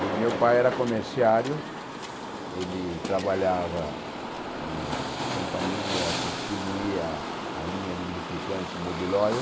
E meu pai era comerciário, ele trabalhava na companhia que distribuía a linha de lubrificantes Mobil Oil.